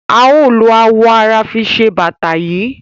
A o lo awọ ara fi se bata yii.